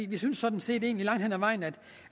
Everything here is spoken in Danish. vi synes sådan set langt hen ad vejen